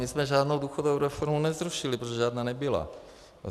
My jsme žádnou důchodovou reformu nezrušili, protože žádná nebyla.